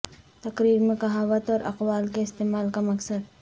تقریر میں کہاوت اور اقوال کے استعمال کا مقصد